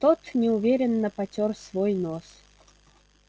тот неуверенно потёр свой нос